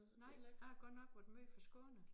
Nej jeg har godt nok være måj forskånet